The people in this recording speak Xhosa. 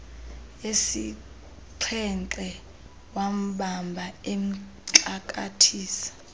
yesixhenxe wambamba emxakathisa